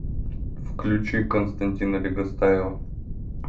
включи константина легостаева